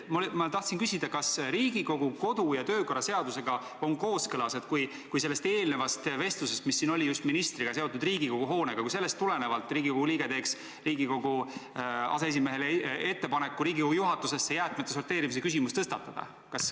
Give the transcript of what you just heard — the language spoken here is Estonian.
Ma tahan küsida, kas Riigikogu kodu- ja töökorra seadusega on kooskõlas, kui tulenevalt sellest vestlusest, mis siin oli just ministriga ja mis oli seotud Riigikogu hoonega, Riigikogu liige teeks Riigikogu aseesimehele ettepaneku Riigikogu juhatuses jäätmete sorteerimise küsimus tõstatada.